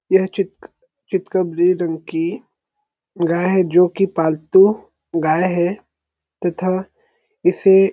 यह चित चितकबरी रंग की गाय है जोकि पालतू गाय है तथा इसे --